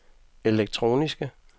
elektroniske